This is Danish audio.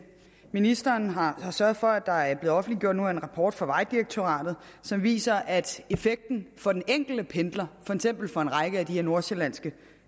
ministeren har sørget for at der nu er blevet offentliggjort en rapport fra vejdirektoratet som viser at effekten for den enkelte pendler for eksempel fra en række af de her nordsjællandske